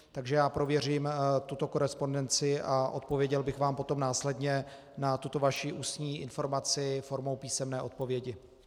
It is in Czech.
Takže já prověřím tuto korespondenci a odpověděl bych vám potom následně na tuto vaši ústní informaci formou písemné odpovědi.